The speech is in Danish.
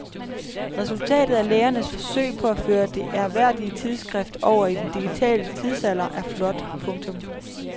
Resultatet af lægernes forsøg på at føre det ærværdige tidsskrift over i den digitale tidsalder er flot. punktum